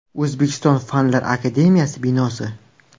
O‘zbekiston Fanlar akademiyasi binosi.